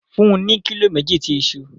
Fun u ni kilo meji ti iṣu